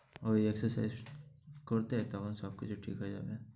ঐ exercise করতে তেমন সব কিছু ঠিক হয়ে যাবে।